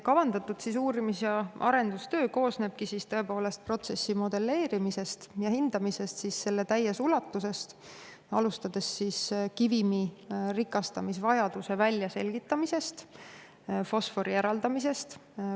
" Kavandatud uurimis- ja arendustöö tõepoolest koosnebki protsessi modelleerimisest ja hindamisest täies ulatuses, alustades kivimi rikastamisvajaduse väljaselgitamisest, fosfori eraldamisest.